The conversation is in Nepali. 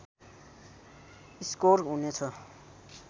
स्कोर हुनेछ